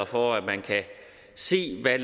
for at man kan se hvad